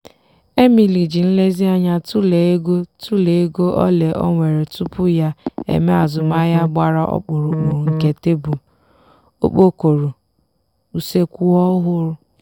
emily ji nlezianya tụlee ego tụlee ego ole o nwere tupu ya e mee azụmaahịa gbara ọkpụrụkpụ nke tebụl (okpokoro) useekwu ọhụrụ.